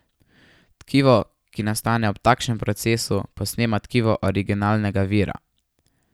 Tkivo, ki nastane ob takšnem procesu, posnema tkivo originalnega vira.